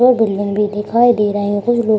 यह बिल्डिंग भी दिखाई दे रहे हैं कुछ लोग --